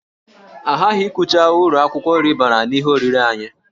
Aghaghị ikwucha uru akwụkwọ nri bara n'ihe oriri anyị